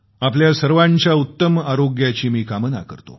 आपल्या सर्वांच्या उत्तम स्वास्थाची मी कामना करतो